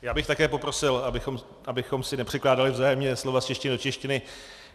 Já bych také poprosil, abychom si nepřekládali vzájemně slova z češtiny do češtiny.